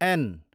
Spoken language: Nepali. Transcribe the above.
एन